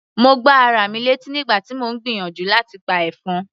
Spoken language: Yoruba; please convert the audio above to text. Mo gbá ara mi létí nígbà tí mò ń gbìyànjú láti pa ẹ̀fọn.